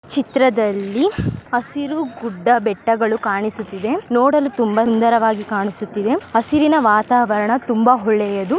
ಚಿತ್ರದಲ್ಲಿ ಹಸಿರು ಗುಡ್ಡ ಬೆಟ್ಟಗಳು ಕಾಣಿಸುತ್ತಿದೆ ನೋಡಲು ತುಂಬಾ ಸುಂದರವಾಗಿ ಕಾಣಿಸುತ್ತಿದೆ ಹಸಿರಿನ ವಾತಾವರಣ ತುಂಬಾ ಒಳ್ಳೆಯದು.